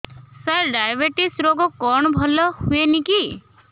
ସାର diabetes ରୋଗ କଣ ଭଲ ହୁଏନି କି